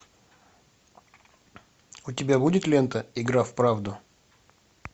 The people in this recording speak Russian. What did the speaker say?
у тебя будет лента игра в правду